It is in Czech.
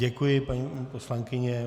Děkuji, paní poslankyně.